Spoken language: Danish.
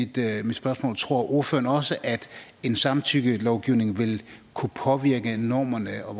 der er mit spørgsmål tror ordføreren også at en samtykkelovgivning vil kunne påvirke normerne og